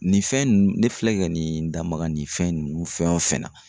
Nin fɛn ninnu ne filɛ ka nin da maga nin fɛn ninnu fɛn o fɛn na